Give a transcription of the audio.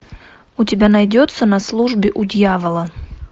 у тебя найдется на службе у дьявола